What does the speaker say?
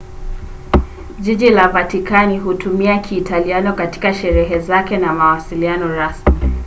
jiji la vatikani hutumia kiitaliano katika sheria zake na mawasiliano rasmi